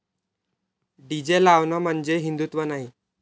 DJ लावणं म्हणजे हिंदुत्व नाही.